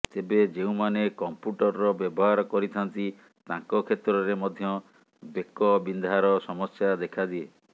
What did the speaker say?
ତେବେ ଯେଉଁମାନେ କମ୍ପ୍ୟୁଟରର ବ୍ୟବହାର କରିଥାନ୍ତି ତାଙ୍କ କ୍ଷେତ୍ରରେ ମଧ୍ୟ ବେକ ବିନ୍ଧାର ସମସ୍ୟା ଦେଖାଦିଏ